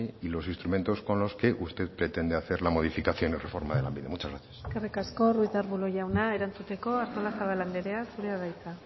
y los instrumentos con los que usted pretende hacer la modificación o reforma de lanbide muchas gracias eskerrik asko ruiz de arbulo jauna erantzuteko artolazabal anderea zurea da hitza